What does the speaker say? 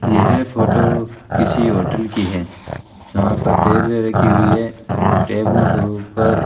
यह फोटो किसी होटल की है जहां पर टेबलें रखी हुई है टेबलों के ऊपर --